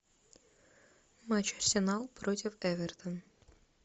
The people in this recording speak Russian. матч арсенал против эвертона